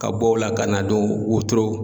Ka bɔ o la ka na don wotoro.